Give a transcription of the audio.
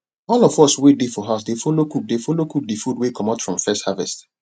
all of us wey dey for house dey follow cook dey follow cook de food wey comot from first harvest